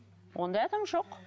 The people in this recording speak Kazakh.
ондай адам жоқ